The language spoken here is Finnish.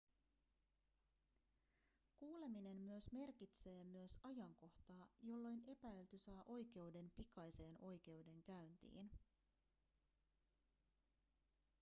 kuuleminen myös merkitsee myös ajankohtaa jolloin epäilty saa oikeuden pikaiseen oikeudenkäyntiin